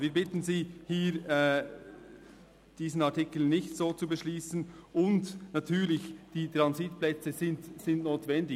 Wir bitten Sie hier, diesen Artikel nicht so zu beschliessen – und natürlich sind die Transitplätze notwendig.